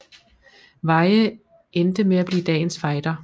Veyhe endte med at blive dagens fighter